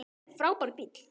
Þetta er frábær bíll.